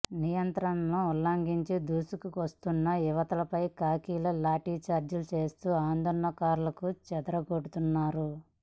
నియంత్రణలను ఉల్లంఘించి దూసుకొస్తున్న యువతపై ఖాకీలు లాఠీచార్జి చేస్తూ ఆందోళనకారులను చెదరగొడుతున్నారు